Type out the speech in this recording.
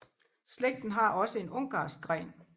Slægten har også en ungarsk gren